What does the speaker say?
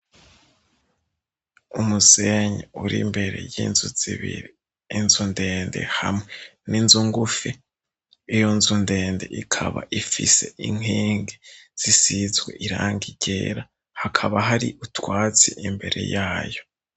Umusenyi uri imbere y'inzu zibiri inzu ndende hamwe n'inzu ngufi iyo nzu ndende ikaba ifise inkingi zisizwe iranga irera hakaba hari utwasi imbere yayo.